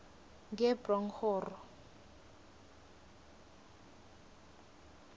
ngebronghoro